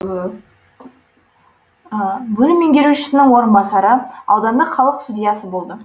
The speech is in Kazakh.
бөлім меңгерушісінің орынбасары аудандық халық судьясы болды